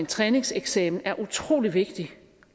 træningseksamener er utrolig vigtige